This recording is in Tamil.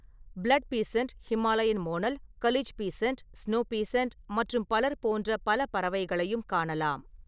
Blood pheasant, Himalayan monal, kalij pheasant, snow pheasant மற்றும் பலர் போன்ற பல பறவைகளையும் காணலாம்.